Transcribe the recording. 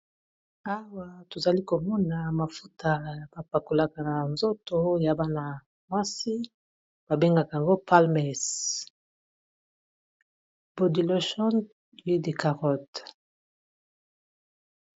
awa tozali komona mafuta ya bapakolaka na nzoto ya bana mwasi babengaka yango palmes boudylocion hude carot